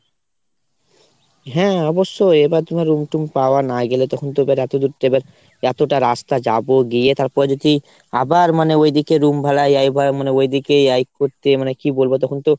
হ্যাঁ অবশ্যই। এবার তোমার room টুম পাওয়া না গেলে তখন তো এবার রাতে এবার কতটা রাস্তা যাবো গিয়ে তারপর যদি আবার মানে ওইদিকে room ভাড়া ওই ওইদিকে এই করতে মানে কি বলবো তখন তো